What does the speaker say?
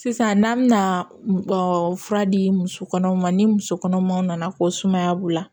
Sisan n'an bɛna ɔ fura di muso kɔnɔmaw ma ni muso kɔnɔmaw nana ko sumaya b'u la